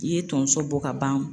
I ye tonso bɔ ka ban.